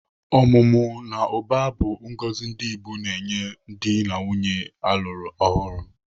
Ọmụmụ na ụba bụ ngọzi ndị Igbo na-enye dị na nwaanyị a lụr ọhụrụ.